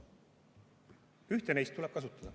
Ühte neist tuleb kasutada.